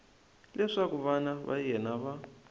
leswaku vana va yena va